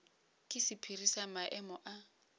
ke sephiri sa maemo a